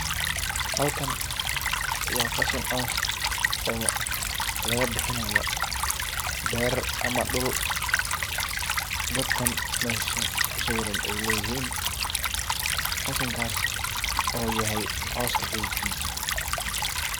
Halkan waa qashin caws oo laga bixinayo beerar ama dhul dadkan meshas kusawiran ay leyihin qashinkas u yahay cawska xidhidkisa.